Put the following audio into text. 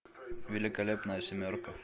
великолепная семерка